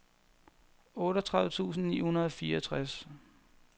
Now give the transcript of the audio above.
otteogtredive tusind ni hundrede og fireogtres